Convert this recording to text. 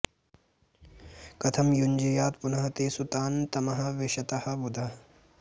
कथं युञ्ज्यात् पुनः तेषु तान् तमः विशतः बुधः